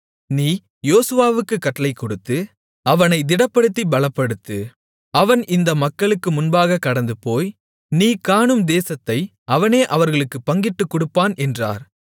நீ யோசுவாவுக்குக் கட்டளை கொடுத்து அவனைத் திடப்படுத்திப் பலப்படுத்து அவன் இந்த மக்களுக்கு முன்பாகக் கடந்துபோய் நீ காணும் தேசத்தை அவனே அவர்களுக்குப் பங்கிட்டுக்கொடுப்பான் என்றார்